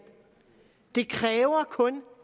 det kræver kun